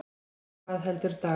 En hvað heldur Dagur?